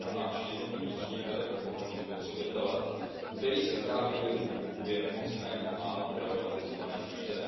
např. na náš jednotný vnitřní trh, ochranu spotřebitele, který si právě nevědomky kupuje nemocné a traumatizované